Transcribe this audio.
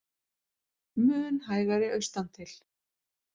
Mun hægari austantil